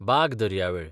बाग दर्यावेळ